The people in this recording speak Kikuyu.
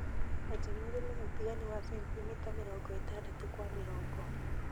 Eja marima ũtiganu wa centimita mĩrongo ĩtadatũ kwa mĩrongo .